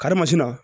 Karimasina